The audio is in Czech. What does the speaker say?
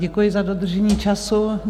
Děkuji za dodržení času.